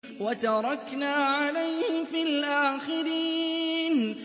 وَتَرَكْنَا عَلَيْهِ فِي الْآخِرِينَ